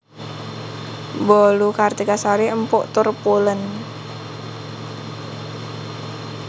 Bolu Kartika Sari empuk tur pulen